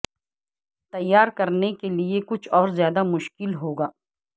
تیار کرنے کے لئے کچھ اور زیادہ مشکل ہو گا